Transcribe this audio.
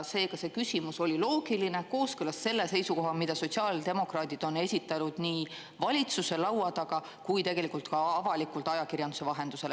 Seega see küsimus oli loogiline, kooskõlas selle seisukohaga, mida sotsiaaldemokraadid on esitanud nii valitsuse laua taga kui tegelikult ka avalikult ajakirjanduse vahendusel.